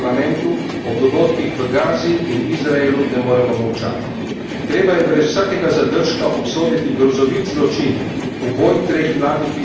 Treba je brez vsakega zadržka obsoditi grozovit zločin, uboj treh mladih Izraelcev, ki je bil neposreden povod za povračilno akcijo izraelske vojske.